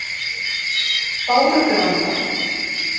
Bárugranda